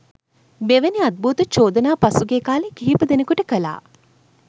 මෙවැනි අද්භූත චෝදනා පසුගිය කාලේ කිහිප දෙනෙකුට කළා